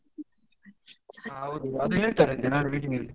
ಹೌದು ಅದು ಹೇಳ್ತಾರಂತೆ ನಾಳೆ meeting ಲ್ಲಿ.